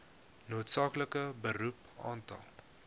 noodsaaklike beroep aantal